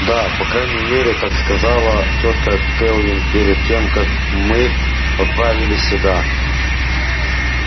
да по крайней мере так сказала тётка кэлвин перед тем как мы отправились сюда